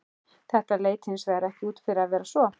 Þetta leit hins vegar ekki út fyrir að vera svo.